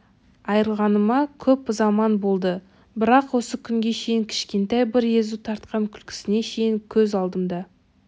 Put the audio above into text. айрылғаныма көп заман болды бірақ осы күнге шейін кшкентай бір езу тартқан күлкісіне шейін көз алдымда